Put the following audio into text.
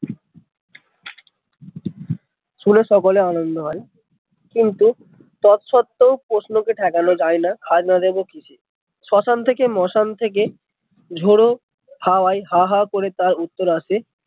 শুনে সকলে আনন্দ হয় কিন্তু তৎসত্ত্বেও প্রশ্ন কে ঠেকানো যায়না খাজনা দেব কিসে শ্বশান থেকে মোশন থেকে ঝোড়ো হাওয়াই হা হা করে তার উত্তর আসে